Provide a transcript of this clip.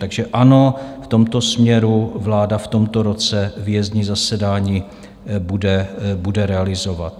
Takže ano, v tomto směru vláda v tomto roce výjezdní zasedání bude realizovat.